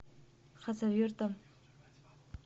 хасавюртом